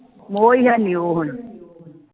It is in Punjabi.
ਮੋਹ ਹੈਨੀ ਉਹ ਹੁਣ